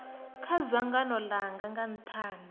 kha dzangano langa nga nthani